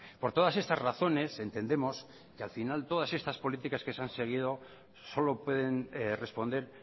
por todas estas razones entendemos que al final todas estas políticas que se han seguido solo pueden responder